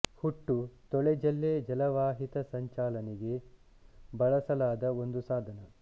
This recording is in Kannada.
ಹುಟ್ಟು ತೊಳೆ ಜಲ್ಲೆ ಜಲವಾಹಿತ ಸಂಚಾಲನೆಗೆ ಬಳಸಲಾದ ಒಂದು ಸಾಧನ